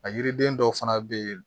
A yiriden dɔw fana be yen